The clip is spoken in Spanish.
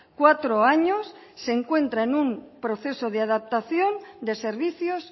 cuatro años se encuentra en un proceso de adaptación de servicios